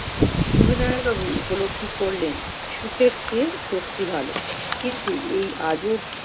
সবিনয় বাবু উপলব্ধি করলেন, সুখের চেয়ে সত্যি ভালো। কিন্তু এই আজব-